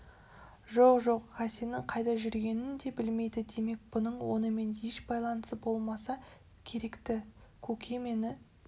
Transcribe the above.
жоқ жоқ хасеннің қайда жүргенін де білмейді демек бұның онымен еш байланысы болмаса керек-ті көке мені